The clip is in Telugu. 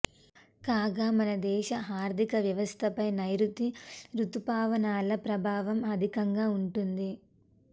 కాగా మన దేశ ఆర్థిక వ్యవస్థపై నైరుతి రుతుపవనాల ప్రభావం అధికంగా ఉంటుంది